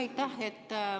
Aitäh!